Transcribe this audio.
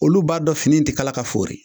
Olu b'a dɔn fini in te kala k'a foori.